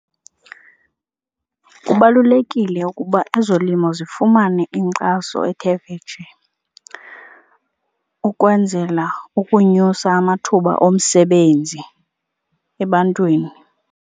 Kubalulekile ukuba ezolimo zifumane inkxaso ethe vetshe ukwenzela ukunyusa amathuba omsebenzi ebantwini.